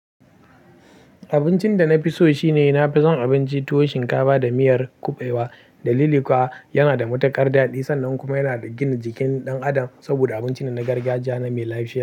Abincin da na fi so shine na fi son abinci tuwo shinkafa da miyar kuɓewa da lilikuwa. Yana da matuƙar daɗi sannan kuma yana da gina jikin ɗan adam saboda abinci ne na gargajiya na mai lafiya.